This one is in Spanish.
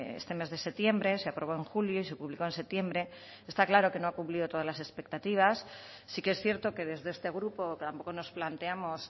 este mes de septiembre se aprobó en julio y se publicó en septiembre está claro que no ha cumplido todas las expectativas sí que es cierto que desde este grupo tampoco nos planteamos